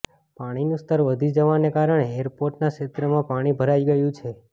પાણીનું સ્તર વધી જવાને કારણે એરપોર્ટનાં ક્ષેત્રમાં પાણી ભરાઇ ગયું છે